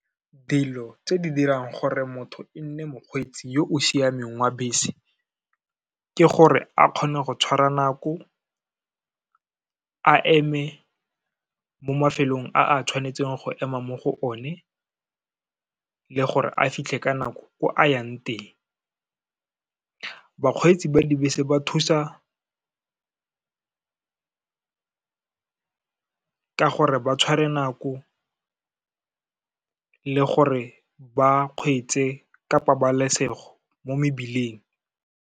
Dilo tse di dirang gore motho e nne mokgweetsi yo o siameng wa bese, ke gore a kgone go tshwara nako, a eme mo mafelong a a tshwanetseng go ema mo go one le gore a fitlhe ka nako ko a yang teng. Bakgweetsi ba dibese ba thusa ka gore ba tshware nako, le gore ba kgweetse ka pabalesego mo mebileng.